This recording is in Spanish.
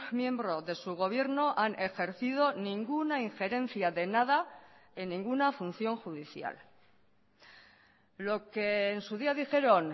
miembro de su gobierno han ejercido ninguna injerencia de nada en ninguna función judicial lo que en su día dijeron